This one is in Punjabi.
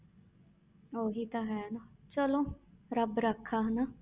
ਉਹੀ ਤਾਂ ਹੈ ਨਾ ਚਲੋ ਰੱਬ ਰਾਖਾ ਹਨਾ।